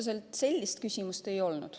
Otseselt sellist küsimust ei olnud.